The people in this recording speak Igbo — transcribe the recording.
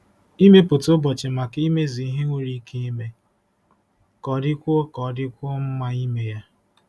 Ịmepụta ụbọchị maka imezu ihe nwere ike ime ka ọ dịkwuo ka ọ dịkwuo mma ime ya.